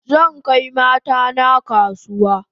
Zan kai mata na kasuwa